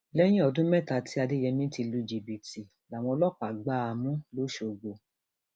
lẹyìn ọdún mẹta tí adéyẹmi ti lu jìbìtì làwọn ọlọpàá gbá a mú lọsọgbó